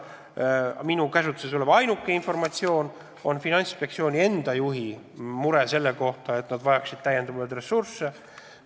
Minu käsutuses olev ainuke informatsioon on, et Finantsinspektsiooni juht on mures, et neil ei ole piisavalt ressursse.